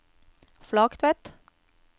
Flaktveit